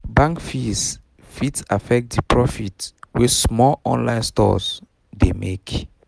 um bank fees fit affect the profit wey small online stores um dey make